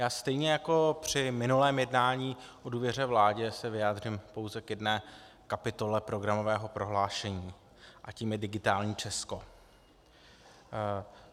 Já stejně jako při minulém jednání o důvěře vládě se vyjádřím pouze k jedné kapitole programového prohlášení a tou je digitální Česko.